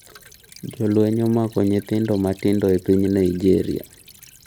jolweny "omako" nyithindo matindo e piny Naijeria